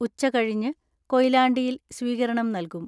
ഉച്ചകഴിഞ്ഞ് കൊയിലാണ്ടിയിൽ സ്വീകരണം നൽകും.